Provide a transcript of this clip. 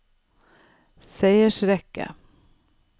seiersrekke